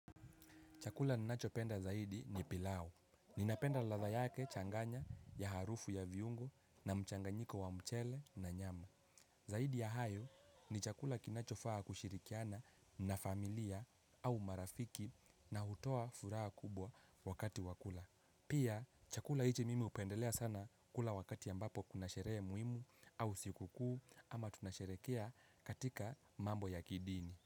Chakula ninachopenda zaidi ni pilau. Ninapenda ladha yake changanya ya harufu ya viungo na mchanganyiko wa mchele na nyama. Zaidi ya hayo ni chakula kinachofaa kushirikiana na familia au marafiki na hutoa furaha kubwa wakati wa kula. Pia chakula hichi mimi hupendelea sana kula wakati ambapo kuna sherehe muhimu au siku kuu ama tunasherekea katika mambo ya kidini.